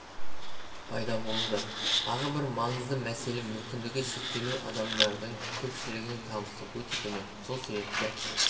пайда болды тағы бір маңызды мәселе мүмкіндігі шектеулі адамдардың көпшілігінің табысы өте төмен сол себепті